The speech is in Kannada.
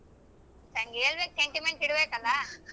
ಹೇಳ್ಬೇಕ್ sentiment ಇಡ್ಬೇಕಲ್ಲ.